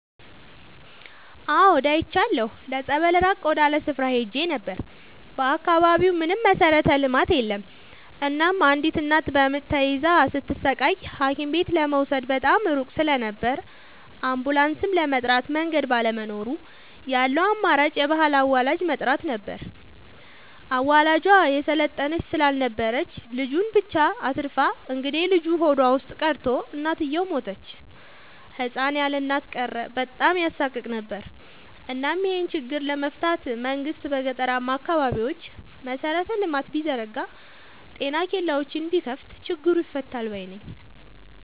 አዎድ አይቻለሁ ለፀበል ራቅ ወዳለ ስፍራ ሄጄ ነበር። በአካባቢው ምንም መሠረተ ልማት የለም እናም አንዲት እናት በምጥ ተይዛ ስትሰቃይ ሀኪምቤት ለመውሰድ በጣም ሩቅ ስለነበር አንቡላስም ለመጥራት መንገድ ባለመኖሩ ያለው አማራጭ የባህል አዋላጅ መጥራት ብቻ ነበር። አዋላጇ የሰለጠነች ስላልነበረች ልጁን ብቻ አትርፋ እንግዴልጁ ሆዷ ውስጥ ቀርቶ እናትየው ሞተች ህፃን ያለእናት ቀረ በጣም ያሳቅቅ ነበር እናም ይሄን ችግር ለመፍታት መንግስት በገጠራማ አካባቢዎች መሰረተ ልማት ቢዘረጋ ጤና ኬላዎችን ቢከፋት ችግሩ ይፈታል ባይነኝ።